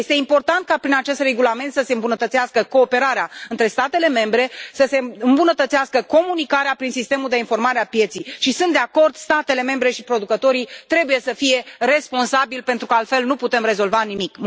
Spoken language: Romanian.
Este important ca prin acest regulament să se îmbunătățească cooperarea între statele membre, să se îmbunătățească comunicarea prin sistemul de informare a pieței și sunt de acord statele membre și producătorii trebuie să fie responsabili, pentru că altfel nu putem rezolva nimic.